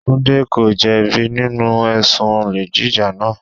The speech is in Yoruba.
Tunde ko jẹ bi nínú ẹ̀sùn olè jíjà náà.